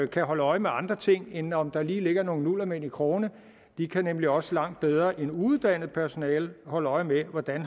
kan holde øje med andre ting end om der lige ligger nogle nullermænd i krogene de kan nemlig også langt bedre end uuddannet personale holde øje med hvordan